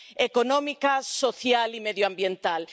económica, social y medioambiental.